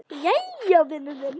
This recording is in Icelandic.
Jæja, vinur minn.